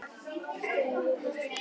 Ríkisstjórnin virðist ráðalaus